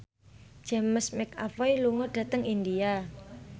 James McAvoy lunga dhateng India